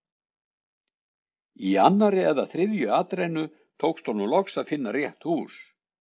Í annarri eða þriðju atrennu tókst honum loks að finna rétt hús.